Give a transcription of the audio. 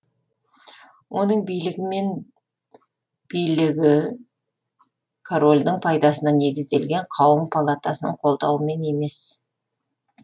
оның билігі мен билігі корольдің пайдасына негізделген қауым палатасының қолдауымен емес